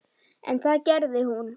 En það gerði hún.